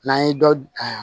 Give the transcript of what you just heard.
N'an ye dɔ